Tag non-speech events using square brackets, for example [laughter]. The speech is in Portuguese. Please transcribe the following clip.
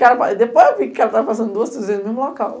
[unintelligible] Depois eu vi que o cara estava passando duas três vezes no mesmo local.